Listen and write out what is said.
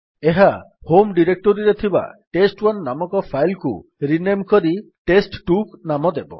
ଏହା ହୋମ୍ ଡିରେକ୍ଟୋରୀରେ ଥିବା ଟେଷ୍ଟ1 ନାମକ ଫାଇଲ୍ କୁ ରିନେମ୍ କରି ଟେଷ୍ଟ2 ନାମ ଦେବ